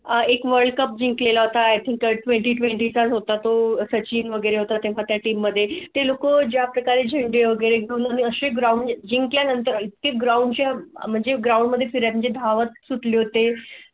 एक world cup जिंकला होता. येथील i thing twenty twenty चा होता तो सचिन वगैरे होतात. या team मध्ये ते लोक ज्या प्रकारे झेंडे वगैरे दोनसे ground जिंकल्यानंतर इतकी ground च्या म्हणजे ground मध्ये म्हणजे दहा वाजता सुटले होते